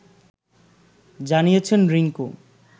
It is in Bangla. জানিয়েছেন রিংকু